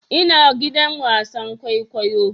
Ina gidan wasan kwaikwayo